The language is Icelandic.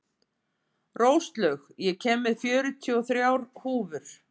Róslaug, ég kom með fjörutíu og þrjár húfur!